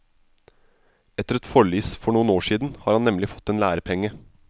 Etter et forlis for noen år siden, har han nemlig fått en lærepenge.